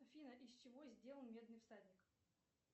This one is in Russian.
афина из чего сделан медный всадник